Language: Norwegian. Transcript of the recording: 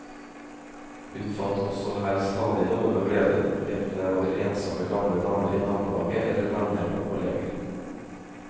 Hun fant også her stadig noen å glede enten det var ensomme gamle damer i nabolaget eller venner og kolleger.